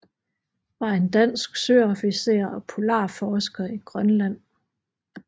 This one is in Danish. Var en dansk søofficer og polarforsker i Grønland